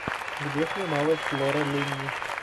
где снималась лора линни